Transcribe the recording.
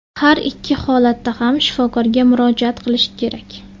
Har ikki holatda ham shifokorga murojaat qilish kerak.